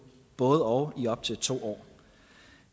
både og i op til to år